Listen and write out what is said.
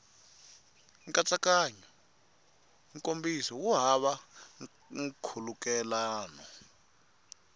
nkatsakanyo nkomiso wu hava nkhulukelano